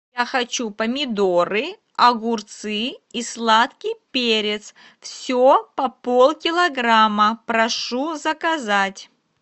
я хочу помидоры огурцы и сладкий перец все по полкилограмма прошу заказать